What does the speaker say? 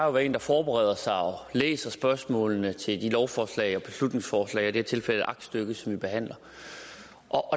at være en der forbereder sig og læser spørgsmålene til de lovforslag og beslutningsforslag og det tilfælde aktstykke som vi behandler